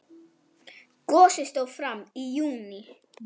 Gosið stóð fram í júní.